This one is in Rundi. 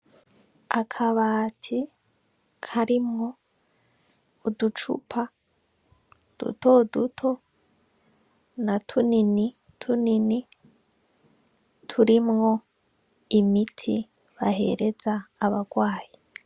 Akabati karimwo uducupa duto duto na tunini tunini turimwo imiti bahereza abagwayi.